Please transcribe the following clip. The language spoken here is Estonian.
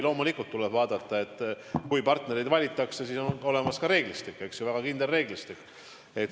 Loomulikult tuleb vaadata, et kui partnereid valitakse, siis oleks olemas ka reeglistik, väga kindel reeglistik.